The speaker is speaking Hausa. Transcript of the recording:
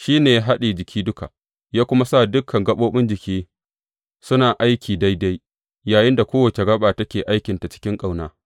Shi ne ya haɗe jiki duka, ya kuma sa dukan gaɓoɓin jiki suna aiki daidai, yayinda kowace gaɓa take aikinta cikin ƙauna.